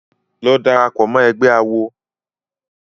Lọ darapọ̀ mọ́ ẹgbé awo!